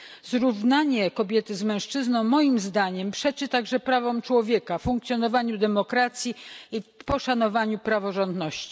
Zrównanie kobiety z mężczyzną, moim zdaniem, przeczy także prawom człowieka, funkcjonowaniu demokracji i poszanowaniu praworządności.